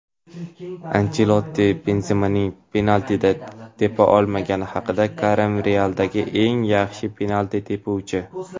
Anchelotti Benzemaning penaltini tepa olmagani haqida: "Karim "Real"dagi eng yaxshi penalti tepuvchi";.